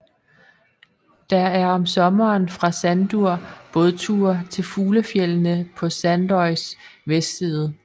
Der er om sommeren fra Sandur bådture til fuglefjeldene på Sandoys vestside